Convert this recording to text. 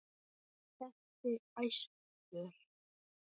Hann benti æstur.